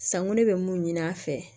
Sanko ne bɛ mun ɲini a fɛ